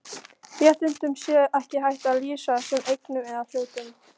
Réttindum sé ekki hægt að lýsa sem eignum eða hlutum.